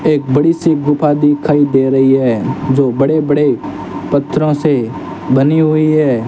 एक बड़ी सी गुफा दिखाई दे रही है जो बड़े बड़े पत्थरो से बनी हुई है।